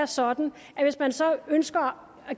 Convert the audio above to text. sådan at hvis man så ønsker at